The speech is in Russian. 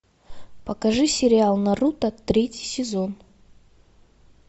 покажи сериал наруто третий сезон